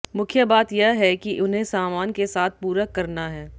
मुख्य बात यह है कि उन्हें सामान के साथ पूरक करना है